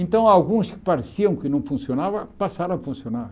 Então alguns que pareciam que não funcionavam, passaram a funcionar.